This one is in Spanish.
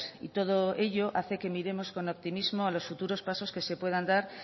y todo ello hace que miremos con optimismo los futuros pasos que se puedan dar